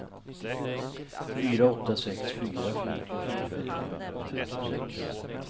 fyra åtta sex fyra femtiofyra trehundrafemtiosex